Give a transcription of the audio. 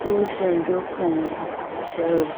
tushen dukkan sharri..